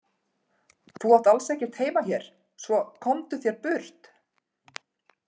Þú átt alls ekkert heima hér svo, komdu þér burt.